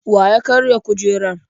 Wa ya karya kujerar?